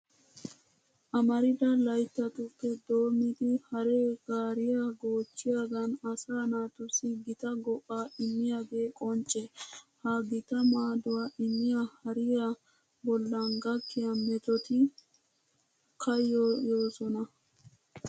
Amarida layttatuppe doommidi haree gaariya goochchiyogan asaa naatussi gita go"aa immiyogee qoncce. Ha gita maaduwa immiya hariya bollan gakkiya metoti kayyoyoosona.